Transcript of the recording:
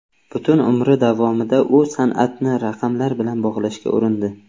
Butun umri davomida u san’atni raqamlar bilan bog‘lashga urindi.